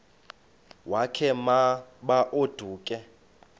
wakhe ma baoduke